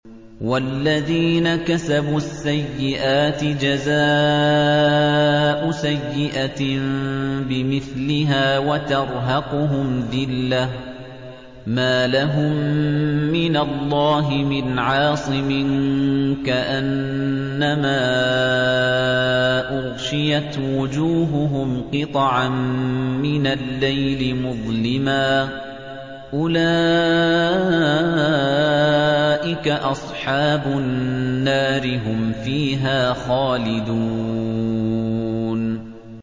وَالَّذِينَ كَسَبُوا السَّيِّئَاتِ جَزَاءُ سَيِّئَةٍ بِمِثْلِهَا وَتَرْهَقُهُمْ ذِلَّةٌ ۖ مَّا لَهُم مِّنَ اللَّهِ مِنْ عَاصِمٍ ۖ كَأَنَّمَا أُغْشِيَتْ وُجُوهُهُمْ قِطَعًا مِّنَ اللَّيْلِ مُظْلِمًا ۚ أُولَٰئِكَ أَصْحَابُ النَّارِ ۖ هُمْ فِيهَا خَالِدُونَ